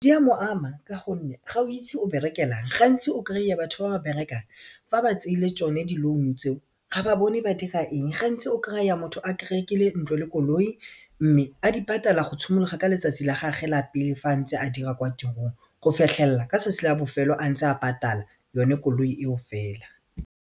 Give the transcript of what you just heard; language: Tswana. Di a mo ama ka gonne ga o itse o berekelang gantsi o kry-a batho ba ba berekang fa ba tseile tsone di-loan tseo ga ba bone ba dira eng gantsi o kry-a motho a rekile ntlo le koloi mme a di patala go tshimologa ka letsatsi la gagwe la pele fa a ntse a dira kwa tirong go fitlhella ka letsatsi la bofelo a ntse a patala yone koloi eo fela.